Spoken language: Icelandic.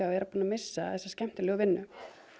að vera búin að missa þessa skemmtilegu vinnu